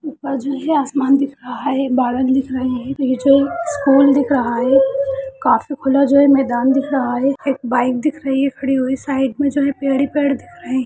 ऊपर जो है आसमान दिख रहा है बादल दिख रहे है ये जो एक स्कूल दिख रहा है काफी खुला जो है मैदान दिख रहा है एक बाइक दिख रही है खड़ी हुई साइड में जो है पेड़ ही पेड़ दिख रहे --